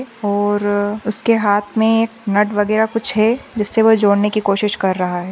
और उसके हात मे एक नट वगैरा कुछ है जिससे वह जोड़ने की कोशिश कर रहा है।